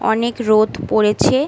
অনেক রোদ পড়েছে ।